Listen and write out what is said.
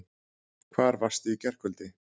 Hvar varstu í gærkvöldi?